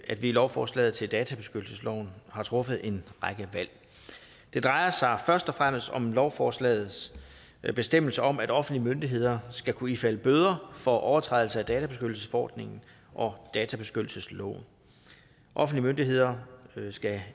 i lovforslaget til databeskyttelsesloven har truffet en række valg det drejer sig først og fremmest om lovforslagets bestemmelse om at offentlige myndigheder skal kunne ifalde bøder for overtrædelse af databeskyttelsesforordningen og databeskyttelsesloven offentlige myndigheder skal